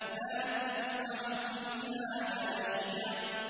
لَّا تَسْمَعُ فِيهَا لَاغِيَةً